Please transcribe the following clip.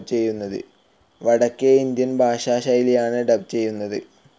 വടക്കേ ഇന്ത്യൻ ഭാഷാ ശൈലിയിലാണ് ഡബ്‌ ചെയ്യുന്നത്.